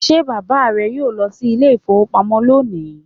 Will your father go to the bank today?